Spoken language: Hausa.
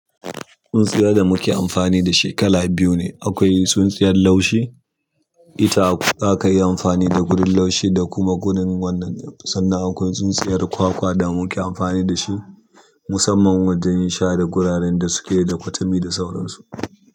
Tsuntsiyar da muke amfani da shi kala biyu ne. Akwai tsuntsiyar laushi, ita aka yi amfani da gurin laushi da kuma gurin wannan. Sannan akwai tsuntsiyar kwakwa da muke amfani da shi musamman wajen yin sharai guraren da da suke da kwatami da sauransu.